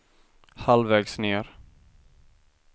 halvvägs ned